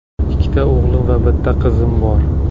Ikkita o‘g‘lim va bitta qizim bor.